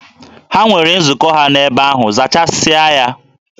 Ha nwere nzukọ ha n'ebe ahụ, zachasịa ya!